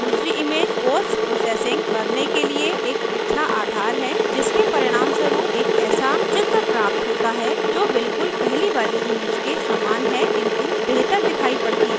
दूसरी image postprocessing करने के लिए एक अच्छा आधार है जिसके परिणामस्वरूप एक ऐसा picture प्राप्त होता है जो बिलकुल पहली वाली image के image है किन्तु बेहतर दिखाई पड़ती है